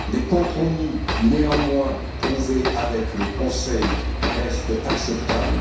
Les compromis néanmoins trouvés avec le Conseil restent acceptables.